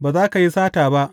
Ba za ka yi sata ba.